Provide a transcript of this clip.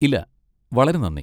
ഇല്ല, വളരെ നന്ദി.